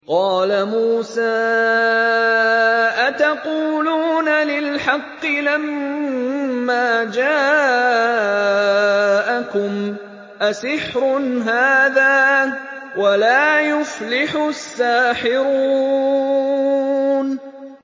قَالَ مُوسَىٰ أَتَقُولُونَ لِلْحَقِّ لَمَّا جَاءَكُمْ ۖ أَسِحْرٌ هَٰذَا وَلَا يُفْلِحُ السَّاحِرُونَ